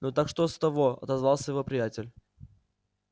ну так что с того отозвался его приятель